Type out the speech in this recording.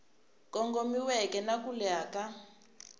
kongomiweke na ku leha ka